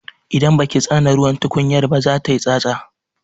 Idan baki tsane ruwan tukunyar ba za tayi tsatsa.